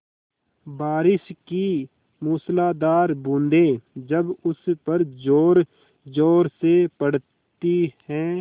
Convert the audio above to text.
बारिश की मूसलाधार बूँदें जब उस पर ज़ोरज़ोर से पड़ती हैं